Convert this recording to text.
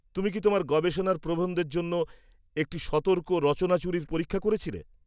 তুমি কি তোমার গবেষণার প্রবন্ধের জন্য একটি সতর্ক রচনাচুরির পরীক্ষা করেছিলে?